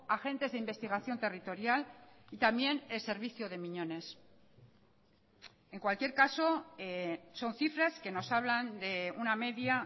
agentes de investigación territorial y también el servicio de miñones en cualquier caso son cifras que nos hablan de una media